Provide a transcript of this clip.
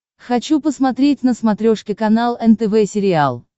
хочу посмотреть на смотрешке канал нтв сериал